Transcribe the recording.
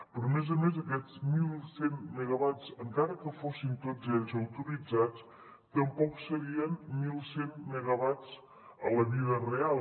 però a més a més aquests mil cent megawatts encara que fossin tots ells autoritzats tampoc serien mil cent megawatts a la vida real